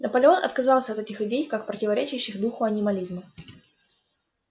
наполеон отказался от этих идей как противоречащих духу анимализма